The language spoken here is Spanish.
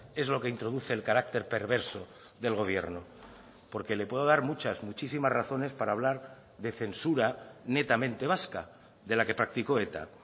es lo que introduce el carácter perverso del gobierno porque le puedo dar muchas muchísimas razones para hablar de censura netamente vasca de la que practicó eta